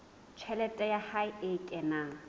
tjhelete ya hae e kenang